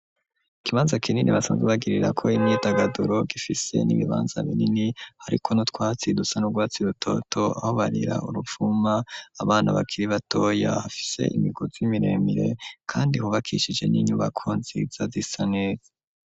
Ikibanza kinini basanze bagirira ko imyitagaduro ,gifise n'ibibanza binini hariko no twatsi dusa n'u rwatsi rutoto, habarira uruvuma abana bakiri batoya ,hafise imiguzi 'imiremire kandi hubakishije n'inyubako nziza zisaneza.